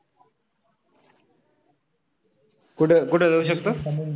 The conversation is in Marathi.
कुठे कुठे जाऊ शकतो?